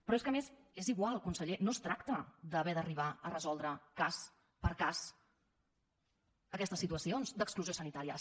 però és que a més és igual conseller no es tracta d’haver d’arribar a resoldre cas per cas aquestes situacions d’exclusió sanitària